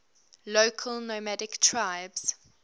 local nomadic tribes